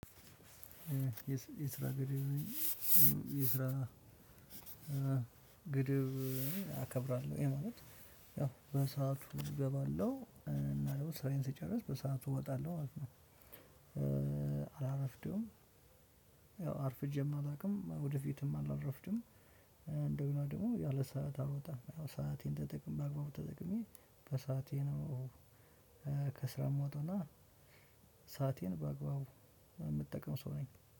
የስራ ግድብ የስራ ግድብ አከብራለሁ ይሄ ማለት ያው በሰአቱ እገባለሁ እና ደግሞ ስራዬን ስጨርስ በሰአቱ እወጣለሁ ማለት ነው እወጣለሁ አላረፍደውም። ያው አርፍጄም አላውቅም ወደፊትም አላረፍድም። እንደገና ደግሞ ያለ ሰዓት አልወጣም ያው ሰአቴን ተጠቅሜ በአግባቡ ተጠቅሜ በሰአቴ ነው። ከስራ የምወጣው እና ሰአቴን በአግባቡ የምጠቀም ሰው ነኝ።